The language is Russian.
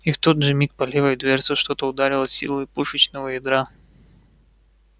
и в тот же миг по левой дверце что-то ударило с силой пушечного ядра